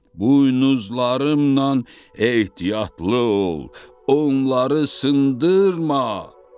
Buynuzlarımla ehtiyatlı ol, onları sındırma!